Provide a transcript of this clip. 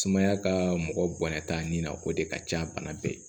Sumaya ka mɔgɔ bonya taa nin na o de ka ca bana bɛɛ ye